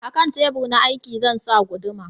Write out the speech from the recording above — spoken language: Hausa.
A kan tebur na aiki zan sa guduma